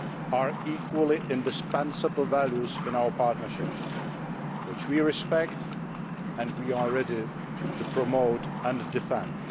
are equally indispensable values in our partnership, which we respect and are ready to promote and defend.